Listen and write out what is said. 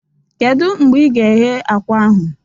Kedu mgbe ị ga-eghe akwa ahụ?